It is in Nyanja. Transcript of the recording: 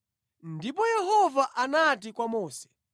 Ndipo Yehova anati kwa Mose,